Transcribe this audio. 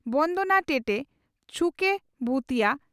ᱵᱚᱱᱫᱚᱱᱟ ᱴᱮᱴᱮ ᱪᱷᱩᱠᱮ ᱵᱷᱩᱛᱤᱭᱟᱹ